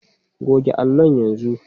Goge allon yanzu.